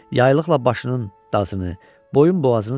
Yaylıqla başının dazını, boyun-boğazını sildi.